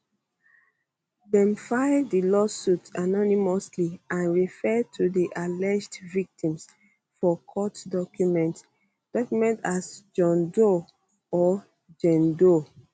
dem file di lawsuits anonymously and refer to di alleged victims for court documents documents as john doe or jane doe